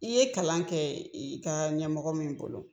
I ye kalan kɛ, i ka ɲɛmɔgɔ min bolo.